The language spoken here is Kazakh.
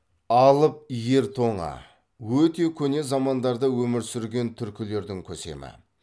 алып ер тоңа өте көне замандарда өмір сүрген түркілердің көсемі